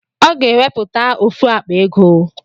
Ọ ga-enwepụta ofu akpa ego